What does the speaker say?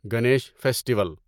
Ganesh festival